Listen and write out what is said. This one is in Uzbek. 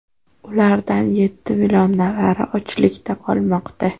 Ulardan yetti million nafari ochlikda qolmoqda.